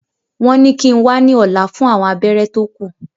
Wọ́n ní kíi n wá ní ọ̀la fún àwọn abẹ́rẹ́ tó kù